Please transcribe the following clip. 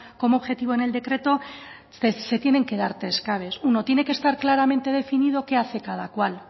como objetivo en el decreto se tienen que dar tres claves uno tiene que estar claramente definido qué hace cada cual